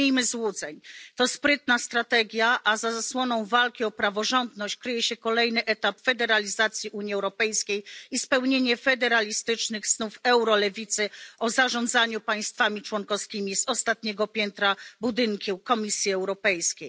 Nie miejmy złudzeń to sprytna strategia, a za zasłoną walki o praworządność kryje się kolejny etap federalizacji Unii Europejskiej i spełnienie federalistycznych snów eurolewicy o zarządzaniu państwami członkowskimi z ostatniego piętra budynku Komisji Europejskiej.